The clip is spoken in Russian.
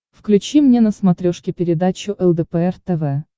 включи мне на смотрешке передачу лдпр тв